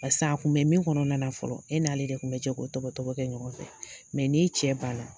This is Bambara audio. Paseke a kun be min kɔnɔna na fɔlɔ e n'ale de kun be jɛ ko tɔbɔ tɔbɔ kɛ ɲɔgɔn fɛ n'i cɛ banna